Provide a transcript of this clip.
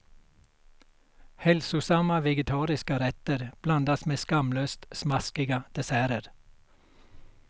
Hälsosamma vegetariska rätter blandas med skamlöst smaskiga desserter.